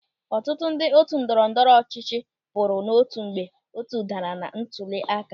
Ọtụtụ ndị otu ndọrọ ndọrọ ọchịchị pụrụ n'otu mgbe otu daara na ntụli aka.